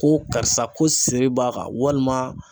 Ko karisa ko siri b'a kan walima